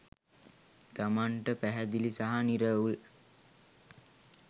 තමන්ට පැහැදිළි සහ නිරවුල්